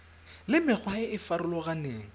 le mekgwa e e farologaneng